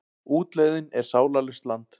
Útlegðin er sálarlaust land.